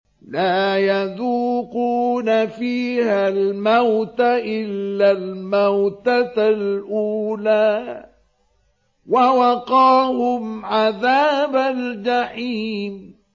لَا يَذُوقُونَ فِيهَا الْمَوْتَ إِلَّا الْمَوْتَةَ الْأُولَىٰ ۖ وَوَقَاهُمْ عَذَابَ الْجَحِيمِ